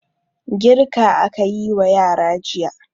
Girka aka yi wa yara jiya.